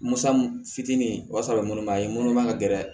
Musa fitinin o y'a sɔrɔ munnu ma ye munun ma ka gɛlɛn